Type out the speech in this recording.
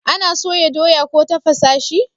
ana soya doya ko tafasa shi